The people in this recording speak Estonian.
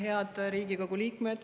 Head Riigikogu liikmed!